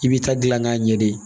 I b'i ta gilan k'a ɲɛ de